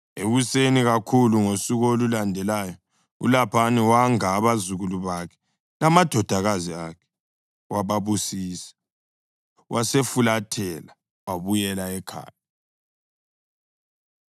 Ekuseni kakhulu ngosuku olulandelayo uLabhani wanga abazukulu bakhe lamadodakazi akhe wababusisa. Wasefulathela wabuyela ekhaya.